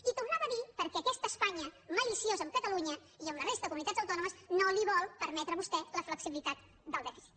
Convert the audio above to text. i tornava a dir perquè aquesta espanya maliciosa amb catalunya i amb la resta de comunitats autònomes no li vol permetre a vostè la flexibilitat del dèficit